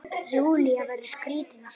Júlía verður skrítin á svip.